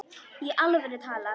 Í alvöru talað.